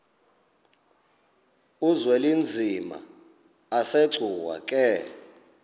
uzwelinzima asegcuwa ke